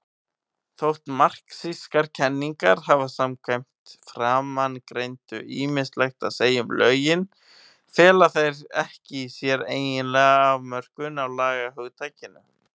Þótt marxískar kenningar hafi samkvæmt framangreindu ýmislegt að segja um lögin, fela þær ekki í sér eiginlega afmörkun á lagahugtakinu.